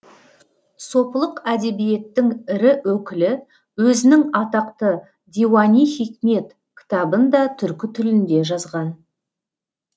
сопылық әдебиеттің ірі өкілі өзінің атақты диуани хикмет кітабын да түркі тілінде жазған